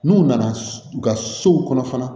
N'u nana u ka sow kɔnɔ fana